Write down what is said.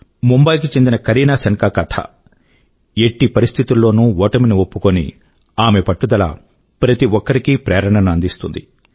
ముంబయి కు చెందిన కరీనా శన్ తా కరీన శంక్త కథ ఎట్టి పరిస్థితి లోనూ ఓటమి ని ఒప్పుకోని ఆమె పట్టుదల ప్రతి ఒక్కరికీ ప్రేరణ ను అందిస్తుంది